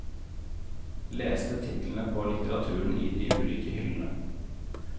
Leste titlene på litteraturen i de ulike hyllene.